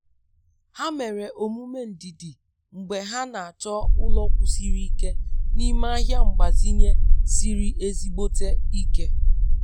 Ha mere omume ndidi mgbe ha na-achọ ụlọ kwụsiri ike n'ime ahịa mgbazinye siri ezigbote ike.